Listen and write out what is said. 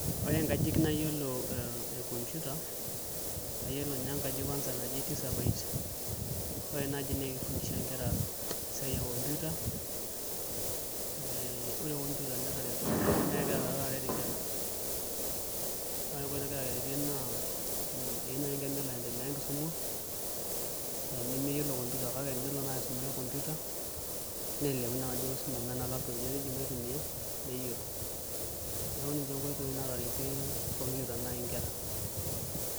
Ore nkajijik nayielo nayielo ekompiuta kayielo ninye enkaji kwanza naji Tisabyte ore enaji naa keifundisha nkera esiae ekompiuta ee ore kompuita naa kegira taake arek Inkera ore enkoitoi nagira aretie naa eyiu nai enkerai nelo aiendelea enkisuma nemeyielo kompuita kake tenelo nai aisumare kompuita neleleku nai enkisuma amu teneji ninye nai laptop itumiyai neyielo neeku ninche nkoitoi nai naataretie kompuita inkerra.